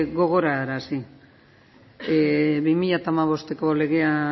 gogoarazi bi mila hamabosteko legea